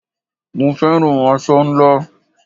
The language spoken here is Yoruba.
Mo féràn aṣọ ńlá.